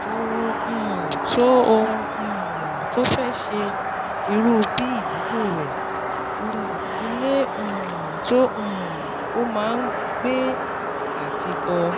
Ohun um tó Ohun um tó o fẹ́ ṣe, irú bí ìdílé rẹ, ilé um tó um o máa gbé àti bó